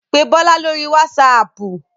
Pé Bọ́lá lóri wásaapù.